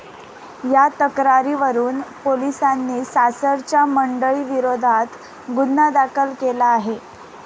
या तक्रारीवरून पोलिसांनी सासरच्या मंडळींविरोधात गुन्हा दाखल केला आहे.